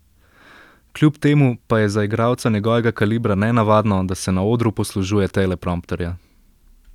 Kljub temu pa je za igralca njegovega kalibra nenavadno, da se na odru poslužuje teleprompterja.